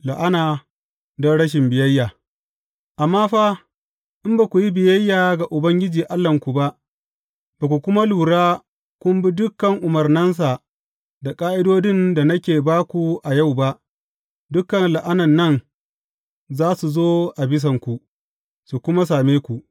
La’ana don rashi biyayya Amma fa, in ba ku yi biyayya ga Ubangiji Allahnku ba, ba ku kuma lura kun bi dukan umarnansa da ƙa’idodin da nake ba ku a yau ba, dukan la’anan nan za su zo a bisanku, su kuma same ku.